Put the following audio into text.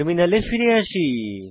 টার্মিনালে ফিরে আসি